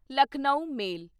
Lucknow ਮੇਲ